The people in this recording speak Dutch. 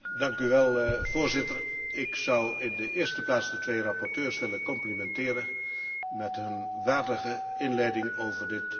Voorzitter, ik zou in de eerste plaats de twee rapporteurs willen complimenteren met hun waardige inleiding over dit onderwerp.